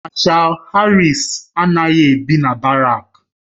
Mashal Harris anaghị ebi na barak